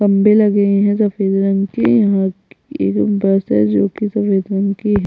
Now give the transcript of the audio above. खम्बे लगे है सफ़ेद रंग के यहाँ ये जो बसेस रुकी है सफ़ेद रंग की है।